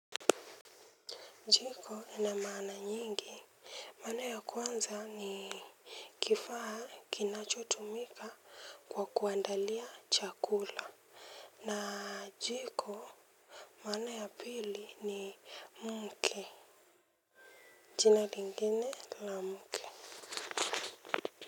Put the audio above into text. Jiko ina maana nyingi. Maana ya kwanza ni kifaa kinacho tumika kwa kuandalia chakula. Na jiko maana ya pili ni mke. Jina lingine la mke.